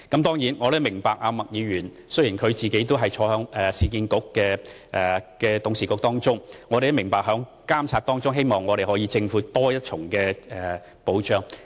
當然，我亦明白麥議員作為市建局的董事會成員擔當監察角色，亦希望政府可作出多一重保障。